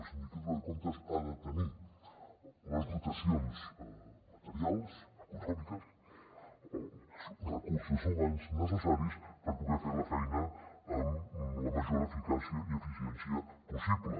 la sindicatura de comptes ha de tenir les dotacions materials econòmiques els recursos humans necessaris per poder fer la feina amb la major eficàcia i eficiència possible